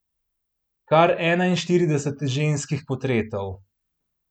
Kar enainštirideset ženskih portretov!